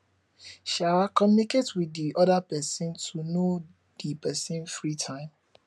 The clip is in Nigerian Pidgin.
um communicate with di other person to know di person free time